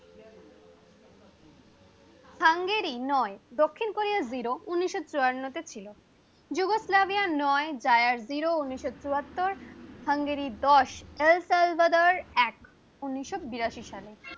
Hungary নয়, দক্ষিণ Korea zero উনিশশো চুয়ান্ন তে ছিলো যুগোস্লাভিয়া নয়, যায়ার জিরো উনিশশো চুয়াত্তর, হাঙ্গেরি দশ, নেলসন ব্রাদার এক উনিশশো বিরাশি সালে